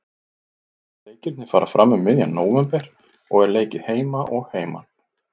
Leikirnir fara fram um miðjan nóvember og er leikið heima og heiman.